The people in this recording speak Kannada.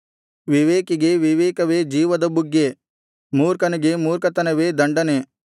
ವಿವೇಕಿಗೆ ವಿವೇಕವೇ ಜೀವದ ಬುಗ್ಗೆ ಮೂರ್ಖನಿಗೆ ಮೂರ್ಖತನವೇ ದಂಡನೆ